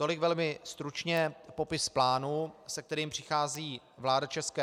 Tolik velmi stručně popis plánu, se kterým přichází vláda ČR.